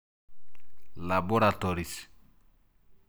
Laboratories.